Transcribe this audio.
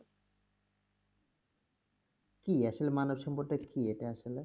কি আসলে মানবসম্পদ টা কি এটা আসলে?